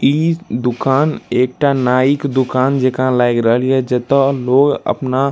ई दूकान एकटा नाई के दूकान जका लाग रहल या जता लोग अपना --